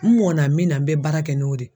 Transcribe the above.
N mɔna min na n bɛ baara kɛ n'o de ye